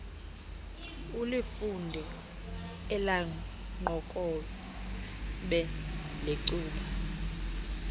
ulifunde elaqokobhe lecuba